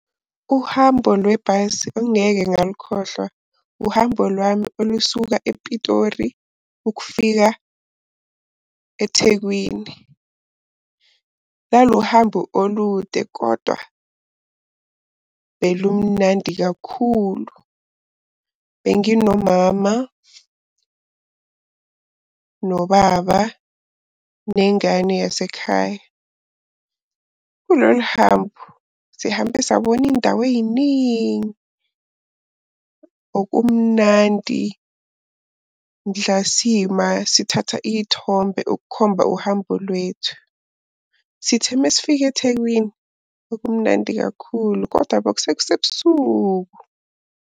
Uhambo lwebhasi ongeke ngalukhohlwa uhambo lwami olusuka ePitori ukufika eThekwini. Lalu hambo olude kodwa belumnandi kakhulu. Benginomama, nobaba, nengane yasekhaya. Kulolu hambo sihambe sabona indawo ey'ningi. Okumnandi mhla sima sithatha iy'thombe ukukhomba uhambo lwethu. Sithe mesifika eThekwini bekumnandi kakhulu koda kwasekusebusuku.